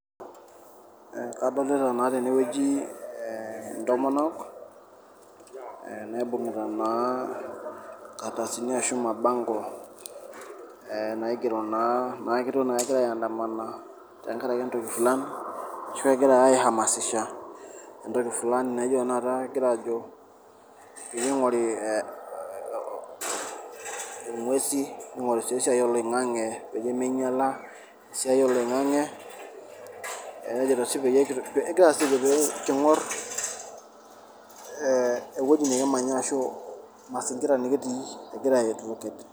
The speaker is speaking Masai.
Kadolita naa tene wueji intomonok ee naibung'ita naa nkardasini ashu mabango ee naigero naa naake etiu naake egira aindamana tenkaraki lang' ashu egira ake aihamasisha entoki fulani naijo tenakata egira aajo piing'ori o o ing'uesi, ning'ori sii esiai oloing'ang'e peyie minyala esiai oloing'ang'e, nejoito sii um peyie kiing'or ee ewoji nekimanya ashu mazingira nekitii egira aidvocate.